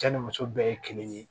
Cɛ ni muso bɛɛ ye kelen ye